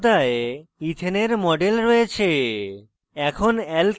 এখন পর্দায় ethane ethane we model রয়েছে